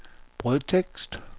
brødtekst